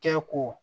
Kɛ ko